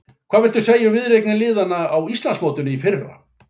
Hvað viltu segja um viðureignir liðanna á Íslandsmótinu í fyrra?